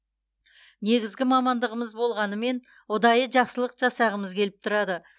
негізгі мамандығымыз болғанымен ұдайы жақсылық жасағамыз келіп тұрады